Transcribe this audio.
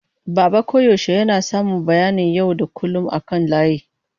Baba koyaushe yana samun bayanan yau da kullun akan layi.